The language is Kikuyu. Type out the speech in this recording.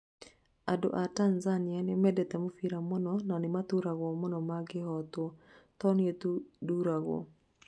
Andũ a Tanzania nĩmendete mũbira mũno, na nĩmaturagwo mũno mangĩhotwo - to niĩ tu ndũragwo